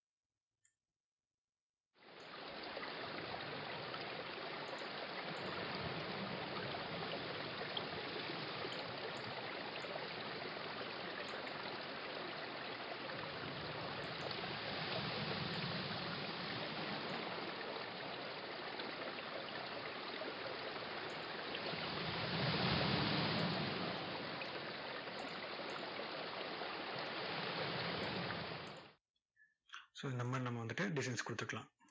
so இந்த மாதிரி நம்ம வந்துட்டு designs கொடுத்துக்கலாம்.